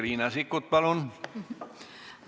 Riina Sikkut, palun!